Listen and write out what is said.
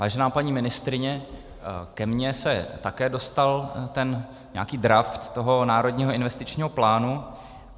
Vážená paní ministryně, ke mně se také dostal ten nějaký draft toho Národního investičního plánu.